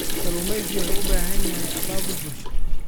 Kalluumeysigu wuxuu u baahan yahay abaabul bulsho.